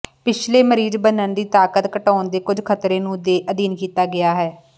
ਪਿਛਲੇ ਮਰੀਜ਼ ਬੰਨਣ ਦੀ ਤਾਕਤ ਘਟਾਉਣ ਦੇ ਕੁਝ ਖਤਰੇ ਨੂੰ ਦੇ ਅਧੀਨ ਕੀਤਾ ਗਿਆ ਹੈ